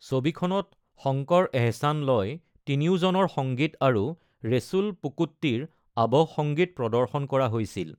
ছবিখনত শংকৰ-এহছান-লয় তিনিওজনৰ সংগীত আৰু ৰেছুল পুকুট্টিৰ আৱহ সংগীত প্ৰদৰ্শন কৰা হৈছিল।